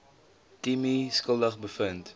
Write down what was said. timmie skuldig bevind